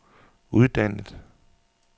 uddannet